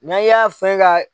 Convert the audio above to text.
Na i y'a fɛn ka.